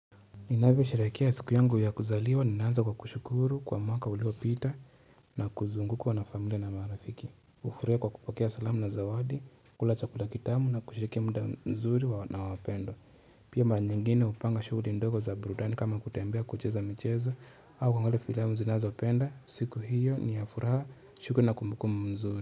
Inavyosherekea siku yangu ya kuzaliwa ninaanza kwa kushukuru kwa mwaka uliopita na kuzungukwa na familia na marafiki hufarahia kwa kupokea salamu na zawadi kula chakula kitamu na kushiriki muda mzuri wa na wapendwa pia mara nyingine hupanga shughuli ndogo za burudani kama kutembea kucheza michezo au kuangalia filamu zinazopenda siku hiyo ni ya furaha shuku na kumkum mzuri.